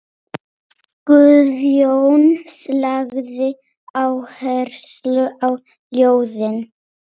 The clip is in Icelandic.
Guðjón lagði áherslu á ljóðin.